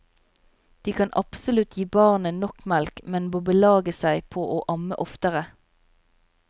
De kan absolutt gi barnet nok melk, men må belage seg på å amme oftere.